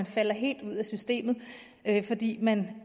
falder helt ud af systemet fordi man